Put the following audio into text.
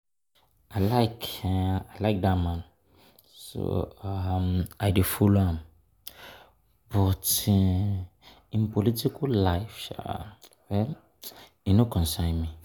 I like like dat man so um I dey follow am but im um political life um no concern me